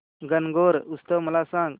गणगौर उत्सव मला सांग